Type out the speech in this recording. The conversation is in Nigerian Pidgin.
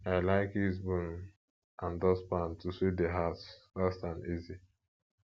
i like use broom and dustpan to sweep di house fast and easy